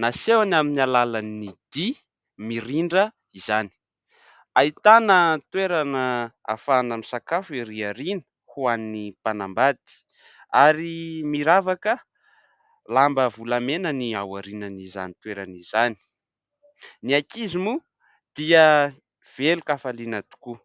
Nasehony amin'ny alalan'ny dia mirindra izany. Ahitana toerana ahafahana misakafo erỳ aoriana ho an'ny mpanambady ary miravaka lamba volamena ny ao aorianan'izany toerana izany. Ny ankizy moa dia velon-kafaliana tokoa.